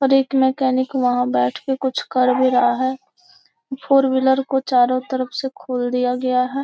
और एक मकैनिक वहाँ बैठ कर कुछ कर भी रहा है फोर व्हीलर चारो तरफ से खोल दिया गया है।